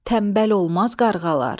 Tənbəl olmaz qarğalar.